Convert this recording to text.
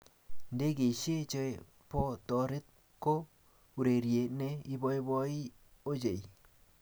Ndegeishe che bo torot ko urerie ne iboiboi ochei.